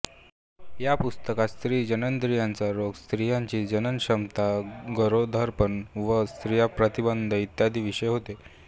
या पुस्तकात स्त्री जननेंद्रियांचे रोग स्त्रीची जननक्षमता गरोदरपण व संततीप्रतिबंध इत्यादी विषय होते